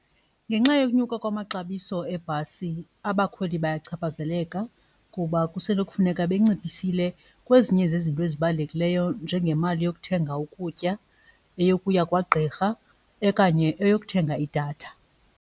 Ngenxa yokunyuka kwamaxabiso ebhasi abakhweli bayachaphazeleka kuba kusenokufuneka benciphisile kwezinye zezinto ezibalulekileyo njengemali yokuthenga ukutya eyokuya kwagqirha okanye eyokuthenga idatha.